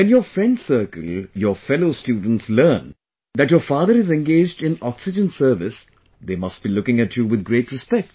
When your friend circle, your fellow students learn that your father is engaged in oxygen service, they must be looking at you with great respect